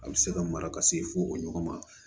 A bɛ se ka mara ka se fo o ɲɔgɔn ma